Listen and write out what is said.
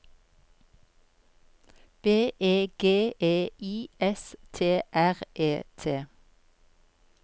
B E G E I S T R E T